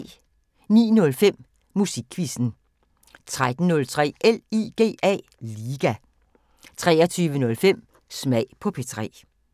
09:05: Musikquizzen 13:03: LIGA 23:05: Smag på P3